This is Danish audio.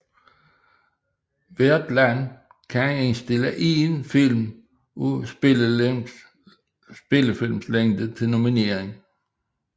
Hvert land kan indstille én film af spillefilmslængde til nominering